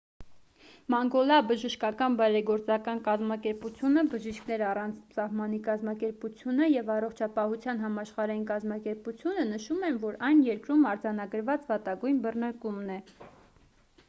մանգոլա բժշկական բարեգործական կազմակերպությունը բժիշկներ առանց սահմանի կազմակերպությունը և առողջապահության համաշխարհային կազմակերպությունը նշում են որ այն երկրում արձանագրված վատագույն բռնկումն է